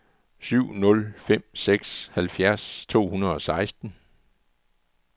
syv nul fem seks halvfjerds to hundrede og seksten